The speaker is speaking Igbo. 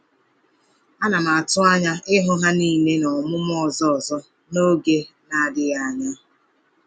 Ana m atụ anya ịhụ ha niile n’ọmụmụ ọzọ ọzọ n’oge na-adịghị anya.